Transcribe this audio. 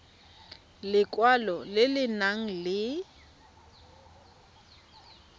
lekwalo le le nang le